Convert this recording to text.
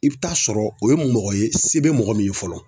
I bi taa sɔrɔ o ye mɔgɔ ye, se bɛ mɔgɔ min ye fɔlɔ.